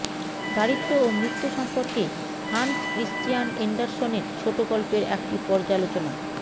দারিদ্র্য ও মৃত্যু সম্পর্কে হান্স ক্রিশ্চিয়ান এন্ডারসনের ছোট গল্পের একটি পর্যালোচনা